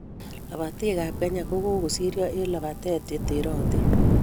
Lobotii ab kenya ko kokokisiryo eng labatee che terotin.